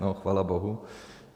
No, chvála bohu.